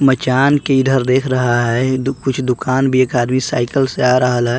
मचान के ईधर देख रहा है दु कुछ दुकान भी एक आदमी साइकल से रहल ह।